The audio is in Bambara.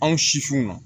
Anw sisiw na